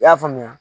I y'a faamuya